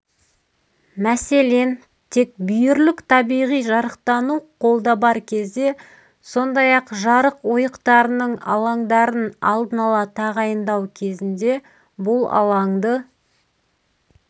мәселен тек бүйірлік табиғи жарықтану колда бар кезде сондай-ақ жарық ойықтарының алаңдарын алдын ала тағайындау кезінде бұл алаңды